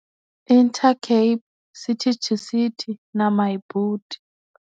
Intercape City to City na Myboet.